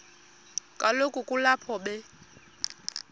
kaloku kulapho be